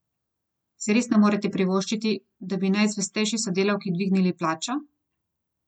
Si res ne more privoščiti, da bi najzvestejši sodelavki dvignil plačo?